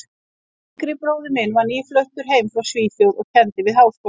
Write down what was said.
yngri bróðir minn var nýfluttur heim frá Svíþjóð og kenndi við Háskólann.